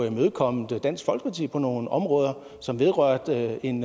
imødekommet dansk folkeparti på nogle områder som vedrørte en